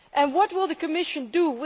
What will the Commission do?